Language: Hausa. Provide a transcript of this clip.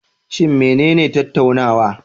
Shin menene tattaunawa?